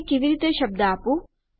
આને કેવી રીતે શબ્દ આપું